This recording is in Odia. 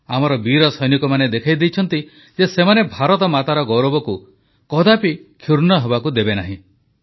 ଆମର ବୀର ସୈନିକମାନେ ଦେଖାଇ ଦେଇଛନ୍ତି ଯେ ସେମାନେ ଭାରତମାତାର ଗୌରବକୁ କଦାପି କ୍ଷୁର୍ଣ୍ଣ ହେବାକୁ ଦେବେନାହିଁ